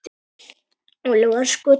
Óli var sko til.